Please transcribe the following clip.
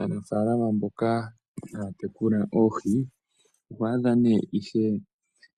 Aanafaalama mboka haya tekula oohi, oho adha nee ishewe